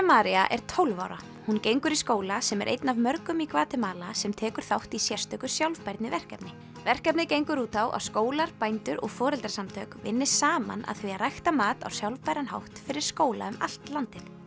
María er tólf ára hún gengur í skóla sem er einn af mörgum í Gvatemala sem tekur þátt í sérstöku sjálfbærniverkefni verkefnið gengur út á að skólar bændur og foreldrasamtök vinni saman að því að rækta mat á sjálfbæran hátt fyrir skóla um allt landið